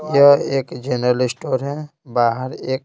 यह एक general store है बाहर एक--